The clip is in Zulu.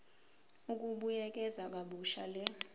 ukubuyekeza kabusha le